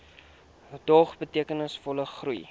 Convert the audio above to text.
dog betekenisvolle groei